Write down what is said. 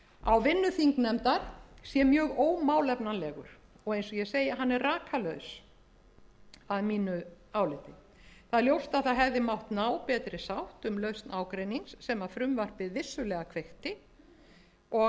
á vinnu þingnefndar sé mjög ómálefnalegur og eins og ég segi hann er rakalaus að mínu áliti ljóst er einnig að ná hefði mátt betri sátt um lausn ágreinings sem frumvarpið vissulega kveikti og